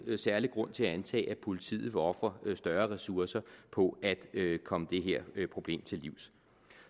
særlig grund til at antage at politiet vil ofre større ressourcer på at komme det her problem til livs